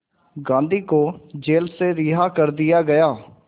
गांधी को जेल से रिहा कर दिया गया